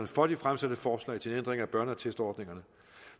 for de fremsatte forslag til en ændring af børneattestordningerne